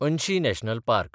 Anshi national park